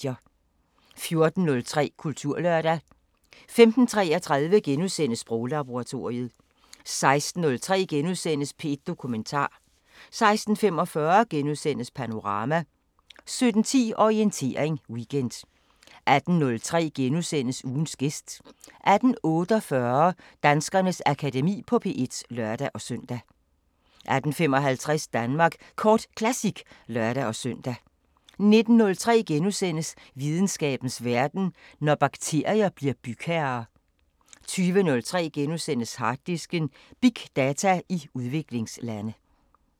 14:03: Kulturlørdag 15:33: Sproglaboratoriet * 16:03: P1 Dokumentar * 16:45: Panorama * 17:10: Orientering Weekend 18:03: Ugens gæst * 18:48: Danskernes Akademi på P1 (lør-søn) 18:55: Danmark Kort Classic (lør-søn) 19:03: Videnskabens Verden: Når bakterier bliver bygherrer * 20:03: Harddisken: Big data i udviklingslande *